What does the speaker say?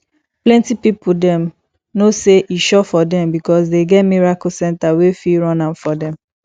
plenty pipo don know sey e sure for them because dem get miracle center wey fit run am for them